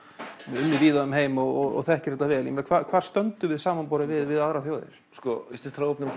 unnið víða um heim og þekkir þetta vel hvar stöndum við samanborið við aðrar þjóðir íslenskt hráefni er